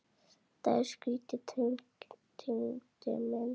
Þetta er skrýtið Tengdi minn.